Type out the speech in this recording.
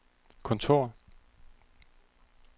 kontor